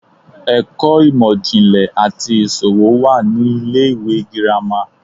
ẹkọ imọ-jinlẹ ati iṣowo wa ni ile-iwe gírama